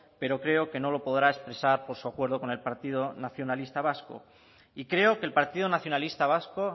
pero creo que no lo podrá expresar por su acuerdo con el partido nacionalista vasco y creo que el partido nacionalista vasco